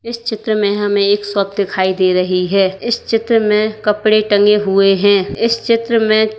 इस चित्र में हमें एक शॉप दिखाई दे रही है इस चित्र में कपड़े टंगे हुए हैं इस चित्र में--